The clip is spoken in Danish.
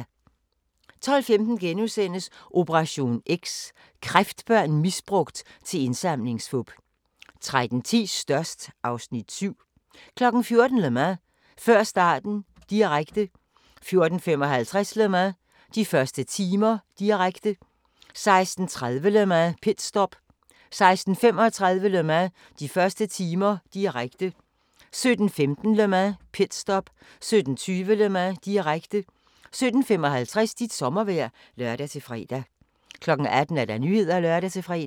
12:15: Operation X: Kræftbørn misbrugt til indsamlingsfup * 13:10: Størst (Afs. 7) 14:00: Le Mans - før starten, direkte 14:55: Le Mans - de første timer, direkte 16:30: Le Mans - pitstop 16:35: Le Mans - de første timer, direkte 17:15: Le Mans - pitstop 17:20: Le Mans, direkte 17:55: Dit sommervejr (lør-fre) 18:00: Nyhederne (lør-fre)